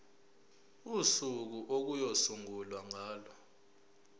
usuku okuyosungulwa ngalo